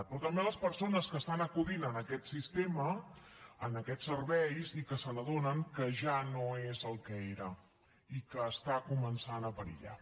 però també a les persones que acudeixen a aquest sistema a aquests serveis i que s’adonen que ja no és el que era i que comença a perillar